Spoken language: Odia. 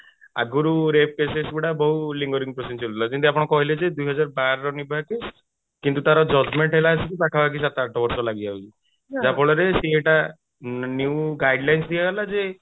ଆଗରୁ rape cases ଗୁଡା ବହୁତ lingering process ଚାଲୁଥିଲା ଯେମିତି ଆପଣ କହିଲେ ଯେ ଦୁଇହଜାର ବାରର ନିର୍ଭୟା case କିନ୍ତୁ ତାର judgement ହେଲା ଆସିକି ପଖାପାଖି ସାତ ଆଠ ବର୍ଷ ଲାଗି ଯାଉଛି ଯାହା ଫଳରେ new guidelines ଦିଆ ହେଲା ଯେ